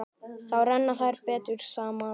Þá renna þær betur saman.